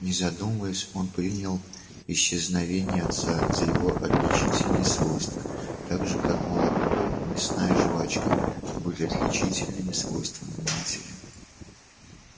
не задумываясь он принял исчезновение отца за его отличительное свойство так же как молоко и мясная жвачка были отличительными свойствами матери